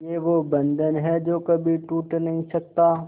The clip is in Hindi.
ये वो बंधन है जो कभी टूट नही सकता